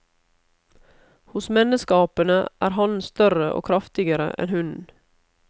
Hos menneskeapene er hannen større og kraftigere enn hunnen.